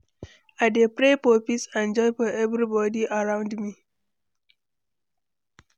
I dey pray for peace and joy for everybody around me.